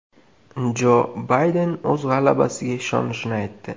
Jo Bayden o‘z g‘alabasiga ishonishini aytdi.